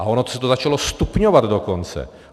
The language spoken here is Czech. A ono se to začalo stupňovat dokonce.